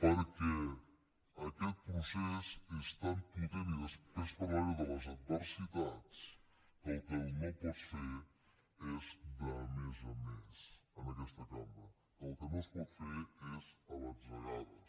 perquè aquest procés és tan potent i després parlaré de les adversitats que el que no pots fer és de més a més en aquesta cambra que el que no es pot fer és a batzegades